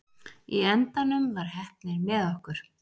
Í endanum var heppnin með okkur.